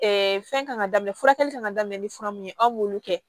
fɛn kan ka daminɛ furakɛli kan ka daminɛ ni fura mun ye aw m'olu kɛ